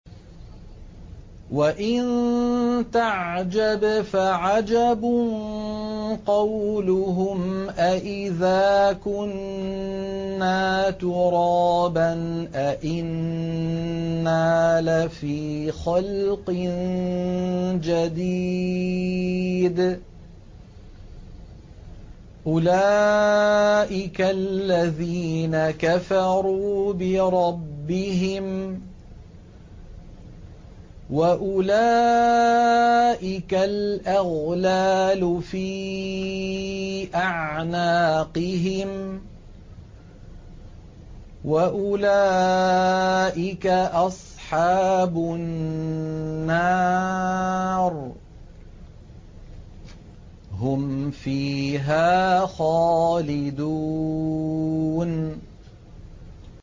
۞ وَإِن تَعْجَبْ فَعَجَبٌ قَوْلُهُمْ أَإِذَا كُنَّا تُرَابًا أَإِنَّا لَفِي خَلْقٍ جَدِيدٍ ۗ أُولَٰئِكَ الَّذِينَ كَفَرُوا بِرَبِّهِمْ ۖ وَأُولَٰئِكَ الْأَغْلَالُ فِي أَعْنَاقِهِمْ ۖ وَأُولَٰئِكَ أَصْحَابُ النَّارِ ۖ هُمْ فِيهَا خَالِدُونَ